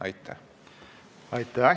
Aitäh!